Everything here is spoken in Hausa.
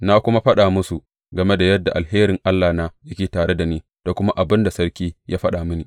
Na kuma faɗa musu game da yadda alherin Allahna yake tare da ni da kuma abin da sarki ya faɗa mini.